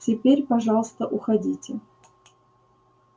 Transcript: теперь пожалуйста уходите